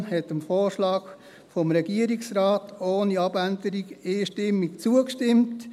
Die SiK hat dem Vorschlag des Regierungsrates ohne Abänderung einstimmig zugestimmt.